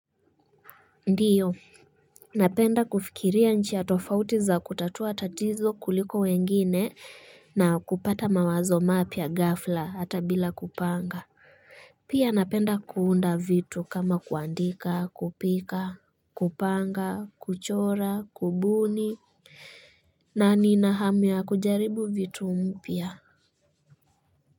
Ndiyo, napenda kufikiria nchi ya tofauti za kutatua tatizo kuliko wengine na kupata mawazo mapia gafla hata bila kupanga. Pia napenda kuunda vitu kama kuandika, kupika, kupanga, kuchora, kubuni, na nina hamia kujaribu vitu mpia.